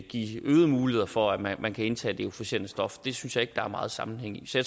give øgede muligheder for at man kan indtage det euforiserende stof det synes jeg ikke der er meget sammenhæng i så